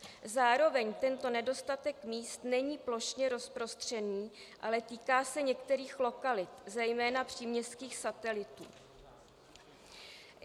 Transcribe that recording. Zároveň tento nedostatek míst není plošně rozprostřený, ale týká se některých lokalit, zejména příměstských satelitů.